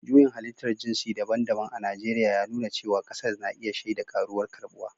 Juyin Halittar jinsi daban-daban a Najeriya ya nuna cewa kasar na iya shaida ƙaruwar karbuwa